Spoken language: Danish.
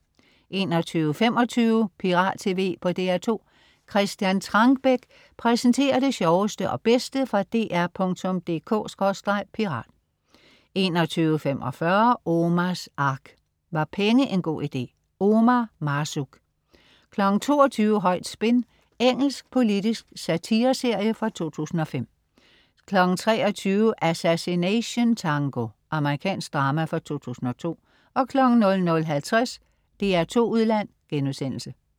21.25 Pirat tv på DR2. Christian Trangbæk præsenterer det sjoveste og bedste fra dr.dk/pirat 21.45 Omars Ark. Var penge en god idé? Omar Marzouk 22.00 Højt spin. Engelsk politisk satireserie fra 2005 23.00 Assassination Tango. Amerikansk drama fra 2002 00.50 DR2 Udland*